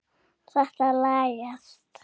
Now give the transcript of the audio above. En þetta lagast.